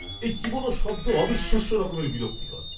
এই চিবনোর শব্দ অবিশ্বাস্য রকম বিরক্তিকর।